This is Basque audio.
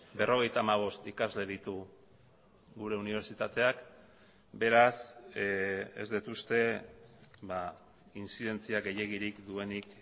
berrogeita hamabost ikasle ditu gure unibertsitateak beraz ez dut uste intzidentzia gehiegirik duenik